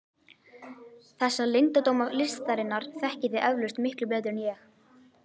Þessa leyndardóma listarinnar þekkið þér eflaust miklu betur en ég.